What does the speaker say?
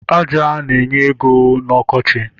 Aja na-enye ego n'ọkọchị